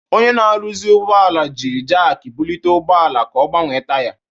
Onye na-arụzi ụgbọala ji jakị bulite ụgbọ ala ka ọ gbanwee taya.